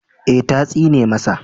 Ee, ta tsine masa